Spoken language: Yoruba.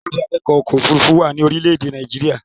Ilé-ìwé awakọ̀ ọkọ̀ òfurufú wà ní orílé èdè Nàìjíría